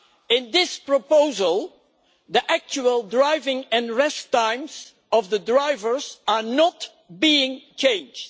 In this proposal, the actual driving and rest times of the drivers are not being changed.